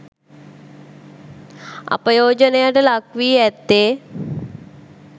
අපයෝජනයට ලක්වී ඇත්තේ